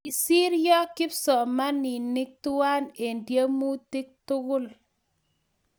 Kosiryo Kipsomanik twai eng tiemutik tugul